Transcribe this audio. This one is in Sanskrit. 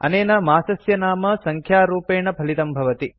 अनेन मासस्य नाम सङ्ख्यारूपेण फलितं भवति